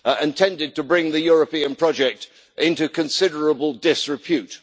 and tended to bring the European project into considerable disrepute.